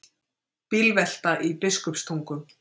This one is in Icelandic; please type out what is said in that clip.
Bílvelta í Biskupstungum